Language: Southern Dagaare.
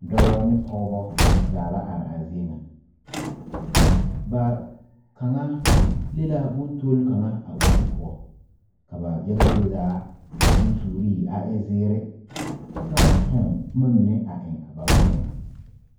Dɔbɔ ne pɔgebɔ zaa la are a zie ŋa ba kaŋa le la boŋ tol kaŋa o zu poɔ ka ba yaga zie zaa taa bonsuuree a e zeere kyɛ ka ba tuŋ boma mine eŋ ba gbɛɛŋ.